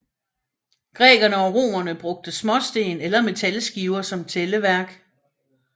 Grækerne og romerne brugte småsten eller metalskiver som tælleværk